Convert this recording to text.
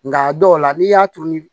Nka a dɔw la n'i y'a turu